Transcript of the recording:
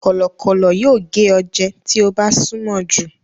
Kọ̀lọ̀kọ́lọ̀ yóò gé ọ jẹ tí o bá súnmọ jù.